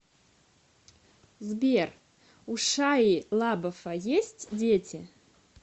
сбер у шайи лабафа есть дети